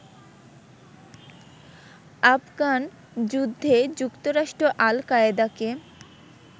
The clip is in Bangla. আফগান যুদ্ধে যুক্তরাষ্ট্র আল কায়দাকে